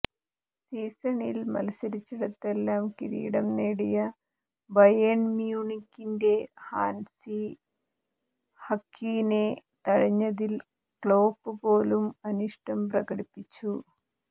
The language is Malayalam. സീസണിൽ മത്സരിച്ചിടത്തെല്ലാം കിരീടം നേടിയ ബയേൺ മ്യൂണിക്കിന്റെ ഹാൻസി ഫഌക്കിനെ തഴഞ്ഞതിൽ ക്ലോപ്പ് പോലും അനിഷ്ടം പ്രകടിപ്പിച്ചു